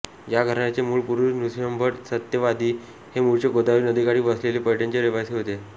या घराण्याचे मूळ पुरुष नृसिंहभट सत्यवादी हे मूळचे गोदावरी नदीकाठी वसलेले पैठणचे रहिवासी होते